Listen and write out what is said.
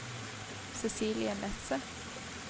Cecilie Nesset